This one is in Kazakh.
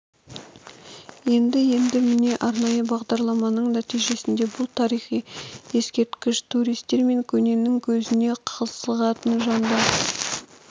еді енді міне арнайы бағдарламаның нәтижесінде бұл тарихи ескерткіш туристер мен көненің көзіне қызығатын жандар